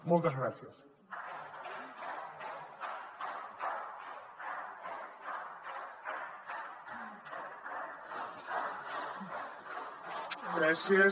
moltes gràcies